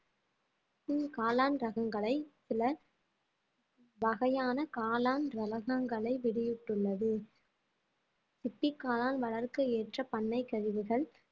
காளான் ரகங்களை சில வகையான காளான் ரகங்களை வெளியிட்டுள்ளது சிப்பி காளான் வளர்க்க ஏற்ற பண்ணை கழிவுகள்